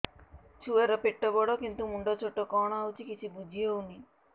ଛୁଆର ପେଟବଡ଼ କିନ୍ତୁ ମୁଣ୍ଡ ଛୋଟ କଣ ହଉଚି କିଛି ଵୁଝିହୋଉନି